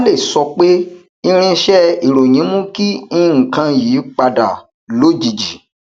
kale sọ pé irinṣẹ ìròyìn mú kí nnkan yí padà lójijì